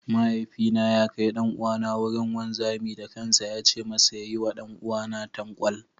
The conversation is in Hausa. Mahaifina ya kai ɗan'uwana wurin wanzami da kansa ya ce masa ya yi wa ɗan'uwana tankwal.